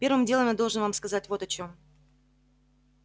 первым делом я должен вам сказать вот о чём